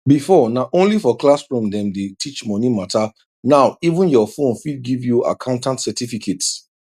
before na only for classroom dem dey teach money matter now even your phone fit give you accountant certificate